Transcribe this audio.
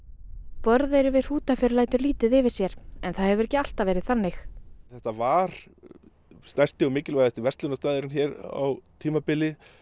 Borðeyri við Hrútafjörð lætur lítið yfir sér en það hefur ekki alltaf verið þannig þetta var stærsti og mikilvægasti verslunarstaðurinn hér á tímabili